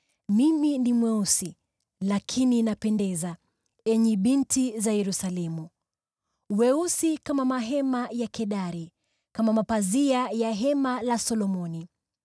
Mimi ni mweusi, lakini napendeza, enyi binti za Yerusalemu, mweusi kama mahema ya Kedari, kama mapazia ya hema la Solomoni.